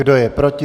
Kdo je proti?